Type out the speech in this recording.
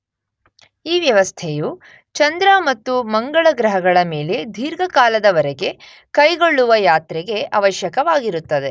ಈ ವ್ಯವಸ್ಥೆಯು ಚಂದ್ರ ಮತ್ತು ಮಂಗಳ ಗ್ರಹಗಳ ಮೇಲೆ ದೀರ್ಘಕಾಲದವರೆಗೆ ಕೈಗೊಳ್ಳುವ ಯಾತ್ರೆಗೆ ಅವಶ್ಯಕವಾಗಿರುತ್ತದೆ.